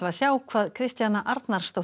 sjá hvað Kristjana Arnarsdóttir